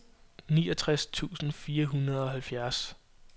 niogtres tusind fire hundrede og halvfjerds